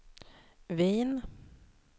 Wien